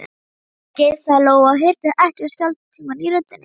Afsakið, sagði Lóa og hirti ekki um skjálftann í röddinni.